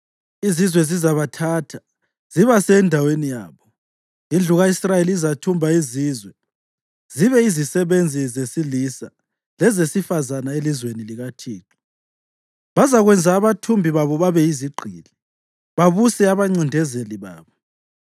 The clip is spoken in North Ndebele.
Izizwe zizabathatha zibase endaweni yabo. Indlu ka-Israyeli izathumba izizwe zibe yizisebenzi zesilisa lezesifazane elizweni likaThixo. Bazakwenza abathumbi babo babe yizigqili, babuse abancindezeli babo.